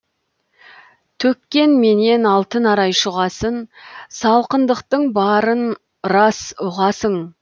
төккенменен алтын арай шұғасын салқындықтың барын рас ұғасың